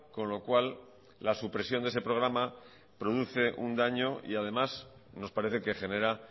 con lo cual la supresión de ese programa produce un daño y además nos parece que genera